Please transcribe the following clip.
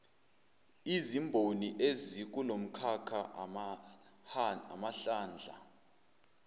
izimboni ezikulomkhakha amahlandla